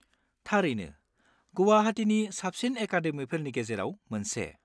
थारैनो, गुवाहाटिनि साबसिन एकादेमिफोरनि गेजेराव मोनसे।